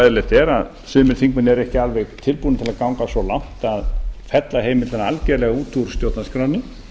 er að sumir þingmenn eru ekki alveg tilbúnir að ganga svo langt að fella heimildina algjörlega út úr stjórnarskránni